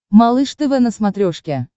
малыш тв на смотрешке